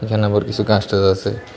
কিছু গাছ টাচ আছে।